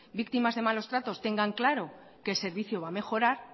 víctimas de malos tratos tengan claro que el servicio va a mejorar